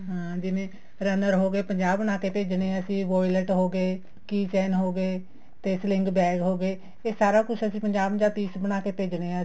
ਹਾਂ ਜਿਵੇਂ runner ਹੋ ਗਏ ਪੰਜਾਹ ਬਣਾਕੇ ਭੇਜਣੇ ਹੈ ਅਸੀਂ violet ਹੋਗੇ key chain ਹੋਗੇ ਤੇ fling bag ਹੋ ਗਏ ਇਹ ਸਾਰਾ ਕੁੱਛ ਪੰਜਾਹ ਪੰਜਾਹ piece ਬਣਾਕੇ ਭੇਜਣੇ ਹੈ ਅਸੀਂ